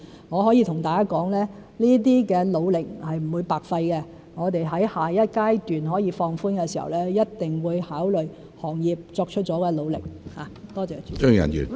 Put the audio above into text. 我可以跟大家說，這些努力是不會白費的，我們在下一階段可以放寬時，一定會考慮行業作出了的努力。